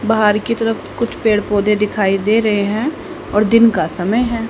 बाहर की तरफ कुछ पेड़ पौधे दिखाई दे रहे हैं और दिन का समय है।